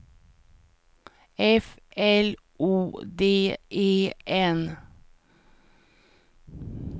F L O D E N